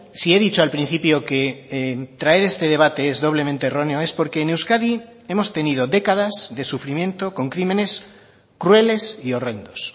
si he dicho al principio que traer este debate es doblemente erróneo es porque en euskadi hemos tenido décadas de sufrimiento con crímenes crueles y horrendos